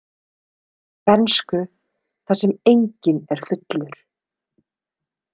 Bernsku þar sem enginn er fullur.